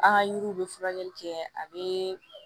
An ka yiriw bɛ furakɛli kɛ a bɛ